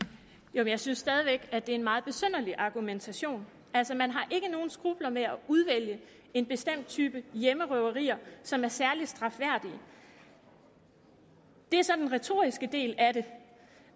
jeg synes stadig væk at det er en meget besynderlig argumentation altså man har ikke nogen skrupler med at udvælge en bestemt type hjemmerøverier som er særlig strafværdige det er så den retoriske del af det